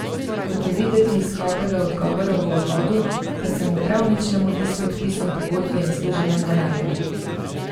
Kot je videti iz skopega odgovora v uvodu, pa se mu prav nič ne mudi s podpisom pogodbe in služenjem denarja.